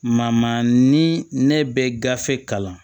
Ma ni ne bɛ gafe kalan